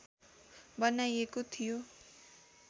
बनाइएको थियो